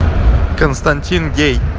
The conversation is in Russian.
константин гей